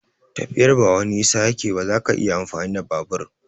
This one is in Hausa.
Tafiyar ba wani nisa yake ba, zaka iya amfani da babur.